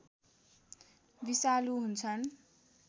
विषालु हुन्छन्